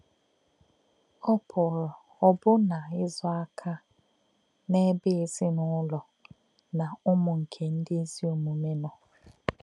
Ọ́ pụ̀rụ́ ọ̀bụ̀nà̄ ìzò̄ àkà̄ n’èbè̄ èzìnụ̀lò̄ nā̄ ṹmù̄ nké̄ ndí̄ ézì ọ̀mùmè̄ nọ́.